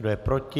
Kdo je proti?